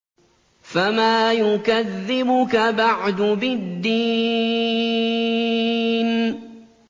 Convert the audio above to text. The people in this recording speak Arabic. فَمَا يُكَذِّبُكَ بَعْدُ بِالدِّينِ